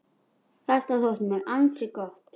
Þetta þótti mér ansi gott.